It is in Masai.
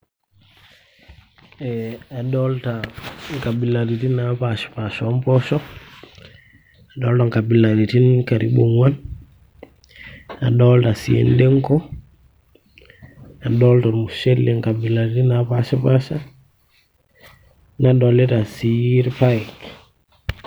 ee adolita nkabilaritin naapashi paasha oomposho adolita nkabilaritin karibu ong'uan, adolita sii endengo, adolita ormushele nkabilariti naapashipasha nadolita sii irpaek.